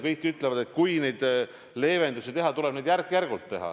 Kõik ütlevad, et kui leevendusi teha, siis tuleb neid teha järk-järgult.